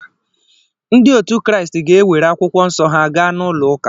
Ndị otu Kraịst ga-ewere akwụkwọ nsọ ha gaa n’ụlọụka.